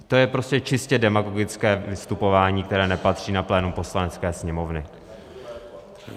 to je prostě čistě demagogické vystupování, které nepatří na plénum Poslanecké sněmovny.